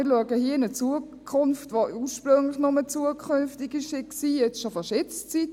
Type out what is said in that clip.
Wir schauen hier in eine Zukunft, die ursprünglich nur zukünftig war, aber jetzt schon fast Jetzt-Zeit.